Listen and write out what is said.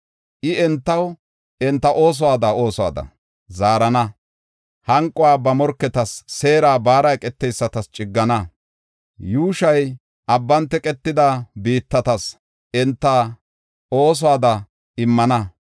I entaw enta oosuwada oosuwada zaarana; hanquwa ba morketas, seera baara eqeteysatas ciggana; yuushoy abban teqetida biittatas enta oosuwada immana.